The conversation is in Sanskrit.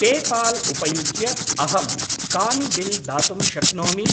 पेपाल् उपयुज्य अहं कानि बिल् दातुं शक्नोमि?